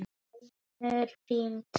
Hér er dimmt.